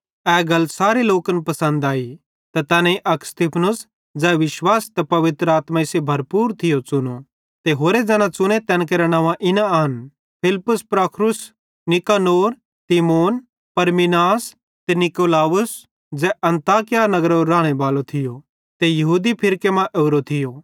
ए गल सारे लोकन पसंद आई ते तैनेईं अक स्तिफनुस ज़ै विश्वास ते पवित्र आत्माई सेइं भरपूर थियो च़ुनो ते होरे ज़ैना च़ुने तैन केरां नव्वां इना आन फिलिप्पुस प्रुखुरुस नीकानोर तीमोन परमिनास ते नीकुलाउस ज़ै अन्ताकिया नगरेरो रानेबालो थियो ते यहूदी फिरके मां ओरो थियो